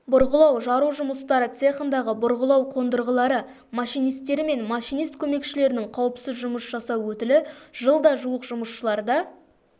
бұрғылау-жару жұмыстары цехындағы бұрғылау қондырғылары машинистері мен машинист көмекшілерінің қауіпсіз жұмыс жасау өтілі жылда жуық жұмысшыларда